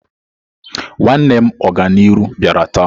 Nwanne m Oganiru biara taa.